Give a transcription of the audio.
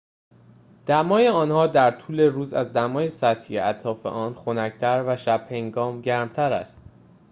دمای آنها در طول روز از دمای سطحی اطراف آن خنک‌تر و شب‌هنگام گرم‌تر است